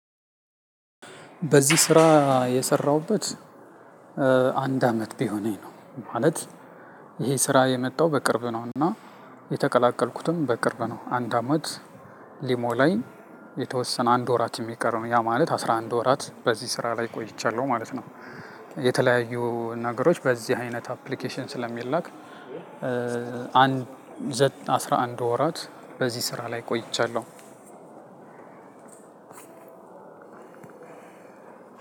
በዚህ ስራ የሰራሁበት አንድ አመት ቢሆነኝ ነው። ማለት ይሄ ስራ የመጣው በቅርብ ነው። እና የተቀላቀልኩትም በቅርብ ነው። አንድ አመት ሊሞላኝ የተወሰነ አንድ ወራት ሚቀር ነው ያ ማለት አስራ አንድ ወራት በዚህ ስራ ላይ ቆይቻለሁ ማለት ነው። የተለያዩ ነገሮች በዚህ አይነት አፕሊኬሽን ስለሚላክ። አንድ ዘጠኝ አስራ አንድ ወራት በዚህ ስራ ላይ ቆይቻለሁ።